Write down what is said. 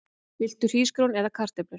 Viltu hrísgrjón eða kartöflur?